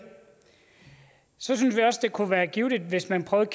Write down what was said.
så synes vi også det kunne være givtigt hvis man prøvede